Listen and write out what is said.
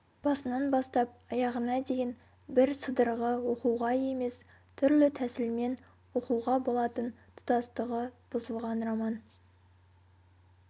басынан бастап аяғына дейін бір сыдырғы оқуға емес түрлі тәсілмен оқуға болатын тұтастығы бұзылған роман